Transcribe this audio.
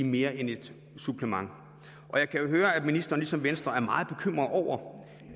mere end et supplement og jeg kan jo høre at ministeren ligesom venstre er meget bekymret over